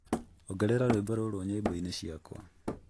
ongerera rwĩmbo rũrũ nyĩmbo-inĩ ciakwa